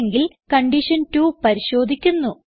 അല്ലെങ്കിൽ കണ്ടീഷൻ 2 പരിശോധിക്കുന്നു